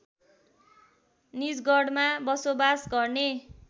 निजगढमा बसोबास गर्ने